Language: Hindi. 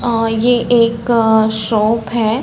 अ ये एक शॉप है।